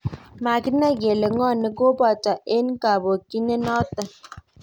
Makinae kele ng'o nekopate en kaponginet nato